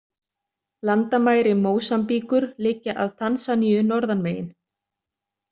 Landamæri Mósambíkur liggja að Tansaníu norðan megin.